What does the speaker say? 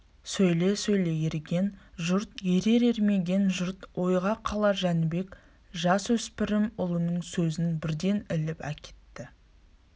сөйле сөйле ерген жұрт ерер ермеген жұрт ойға қалар жәнібек жасөспірім ұлының сөзін бірден іліп әкетті